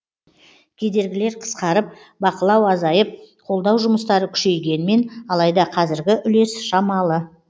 кедергілер қысқарып бақылау азайып қолдау жұмыстары күшейгенмен алайда қазіргі үлес шамалы